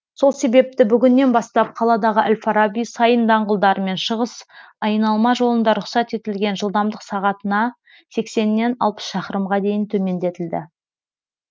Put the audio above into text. сол себепті бүгіннен бастап қаладағы әл фараби сайын даңғылдары мен шығыс айналма жолында рұқсат етілген жылдамдық сағатына сексеннен алпыс шақырымға дейін төмендетілді